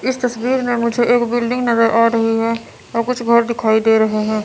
इस तस्वीर में मुझे एक बिल्डिंग नजर आ रही है और कुछ घर दिखाई दे रहे हैं।